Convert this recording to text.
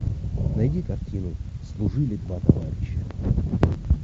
найди картину служили два товарища